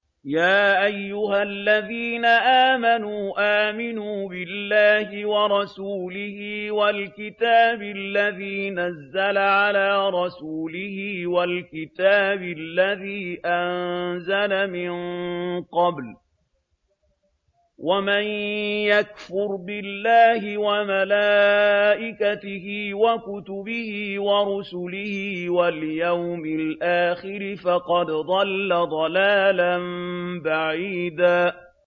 يَا أَيُّهَا الَّذِينَ آمَنُوا آمِنُوا بِاللَّهِ وَرَسُولِهِ وَالْكِتَابِ الَّذِي نَزَّلَ عَلَىٰ رَسُولِهِ وَالْكِتَابِ الَّذِي أَنزَلَ مِن قَبْلُ ۚ وَمَن يَكْفُرْ بِاللَّهِ وَمَلَائِكَتِهِ وَكُتُبِهِ وَرُسُلِهِ وَالْيَوْمِ الْآخِرِ فَقَدْ ضَلَّ ضَلَالًا بَعِيدًا